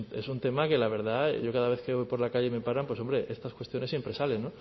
es un tema que la verdad yo cada vez que hoy por la calle y me paran pues estas cuestiones siempre salen